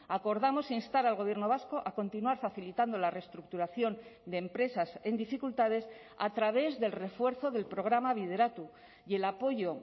acordamos instar al gobierno vasco a continuar facilitando la reestructuración de empresas en dificultades a través del refuerzo del programa bideratu y el apoyo